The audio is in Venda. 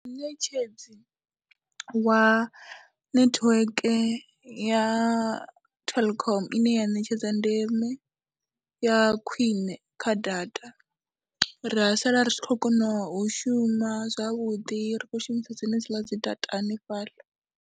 Muṋetshedzi wa netiweke ya Telkom ine ya ṋetshedza ndeme ya khwine kha data, ra sala ri tshi khou kona u shuma zwavhuḓi ri khou shumisa dzenedziḽa dzi data hanefhaḽa.